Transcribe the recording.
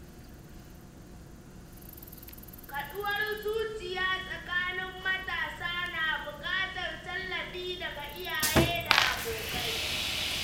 Kaɗuwar zuciya tsakanin matasa na buƙatar tallafi daga iyaye da abokai.